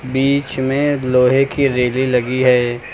बीच में लोहे की रेली लगी है।